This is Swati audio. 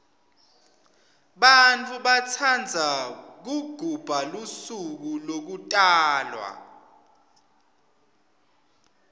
bantfu batsandza kugubha lusuko lekutalwa